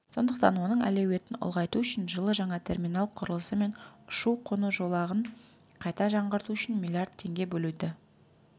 сондықтан оның әлеуетін ұлғайту үшін жылы жаңа терминал құрылысы мен ұшу-қону жолағын қайта жаңғырту үшін миллиард теңге бөлуді